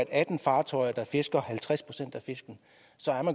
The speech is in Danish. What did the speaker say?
atten fartøjer der fisker halvtreds procent af fiskene